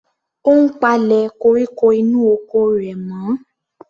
Ó ń palẹ̀ koríko inú oko rẹ̀ mọ́.